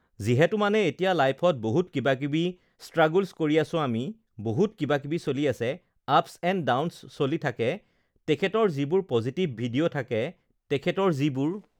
যিহেতু মানে এতিয়া লাইফত বহুত কিবা-কিবি ষ্ট্ৰাগুলচ কৰি আছোঁ আমি, বহুত কিবা-কিবি চলি আছে, আপছ এণ্ড ডাউনছ চলি থাকে তেখেতৰ যিবোৰ পজিটিভ ভিডিঅ' থাকে তেখেতৰ যিবোৰ